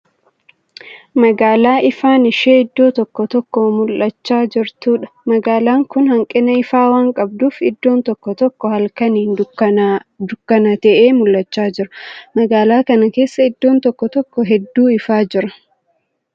Magaala ifaan ishee iddoo tokko tokkoo mul'achaa jirtuudha. Magaalaan kun hanqina ifaa waan qabduuf iddoon tokko tokko halkaaniin dukkana ta'ee mul'achaa jira. Magaalaa kanaa keessaa iddoon tokko tokko hedduu ifaa jira.